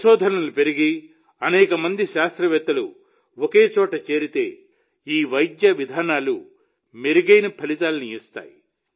పరిశోధనలు పెరిగి అనేక మంది శాస్త్రవేత్తలు ఒకచోట చేరితే ఈ వైద్య విధానాలు మెరుగైన ఫలితాలను ఇస్తాయి